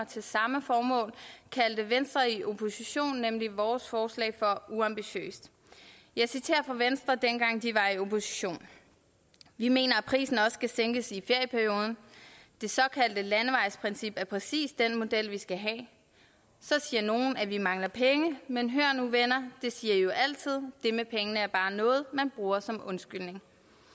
til samme formål kaldte venstre i opposition nemlig vores forslag for uambitiøst jeg citerer fra venstre dengang de var i opposition vi mener at prisen også skal sænkes i ferieperioden det såkaldte landevejsprincip er præcis den model vi skal have så siger nogle at vi mangler penge men hør nu venner det siger i jo altid det med pengene er bare noget man bruger som undskyldning